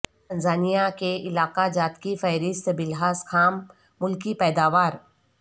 Tanzania کے علاقہ جات کی فہرست بلحاظ خام ملکی پیداوار